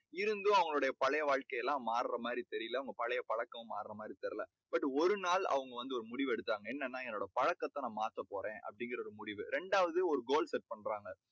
இருந்தும் அவங்களோட பழைய வாழ்க்கை எல்லாம் மார்ற மாதிரி தெரியலை. அவங்க பழைய பழக்கம் மார்ற மாதிரி தெரியலை. but ஒரு நாள் அவங்க வந்து ஒரு முடிவு எடுத்தாங்க. என்னன்னா என்னோட பழக்கத்தை நான் மாத்தப் போறேன். அப்படீங்கற ஒரு முடிவு. இரண்டாவது ஒரு goal set பண்றாங்க.